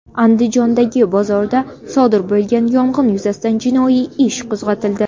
Andijondagi bozorda sodir bo‘lgan yong‘in yuzasidan jinoiy ish qo‘zg‘atildi.